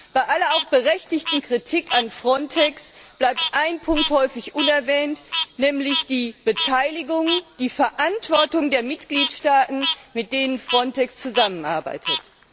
Bei aller auch berechtigten Kritik an FRONTEX bleibt ein Punkt häufig unerwähnt, nämlich die Beteiligung, die Verantwortung der Mitgliedstaaten, mit denen FRONTEX zusammenarbeitet.